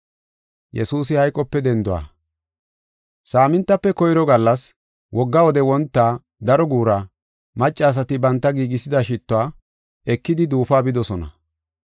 Saamintafe koyro gallas, wogga wode wonta daro guura, maccasati banta giigisida shittuwa ekidi duufuwa bidosona.